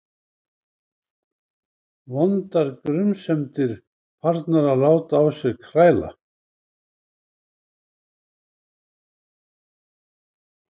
Vondar grunsemdir farnar að láta á sér kræla.